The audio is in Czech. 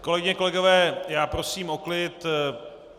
Kolegyně, kolegové, prosím o klid.